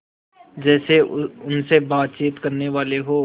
जैसे उनसे बातचीत करनेवाले हों